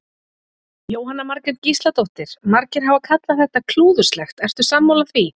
Jóhanna Margrét Gísladóttir: Margir hafa kallað þetta klúðurslegt, ertu sammála því?